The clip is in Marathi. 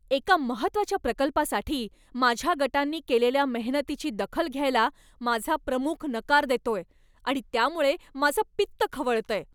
एका महत्त्वाच्या प्रकल्पासाठी माझ्या गटांनी केलेल्या मेहनतीची दखल घ्यायला माझा प्रमुख नकार देतोय आणि त्यामुळे माझं पित्त खवळतंय.